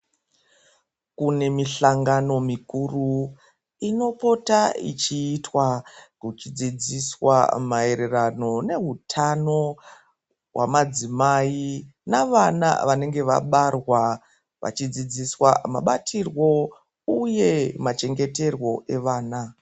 Kune mihlangano mikuru inopota ichiitwa kuchidzidziswa maereano nehutano hwamadzimai navana vanenge vabarwa vachidzidziswa mabatirwo uye machengeterwo evana.